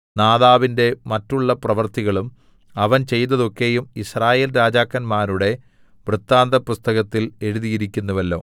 നാദാബിന്റെ മറ്റുള്ള പ്രവൃത്തികളും അവൻ ചെയ്തതൊക്കെയും യിസ്രായേൽ രാജാക്കന്മാരുടെ വൃത്താന്തപുസ്തകത്തിൽ എഴുതിയിരിക്കുന്നുവല്ലോ